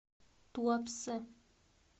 туапсе